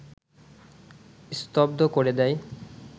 স্তব্ধ করে দেয়